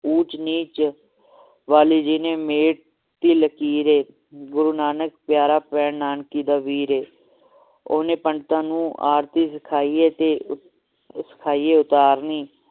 ਉੱਚ ਨੀਚ ਵਾਲੀ ਜਿਹਨੇ ਮੇਟ ਟੀ ਲਕੀਰ ਹੈ ਗੁਰੂ ਨਾਨਕ ਪਿਆਰਾ ਭੈਣ ਨਾਨਕੀ ਦਾ ਵੀਰ ਏ ਓਹਨੇ ਪੰਡਤਾਂ ਨੂੰ ਆਰਤੀ ਸਿਖਾਈ ਏ ਤੇ ਸਿਖਾਈ ਏ ਉਤਾਰਨੀ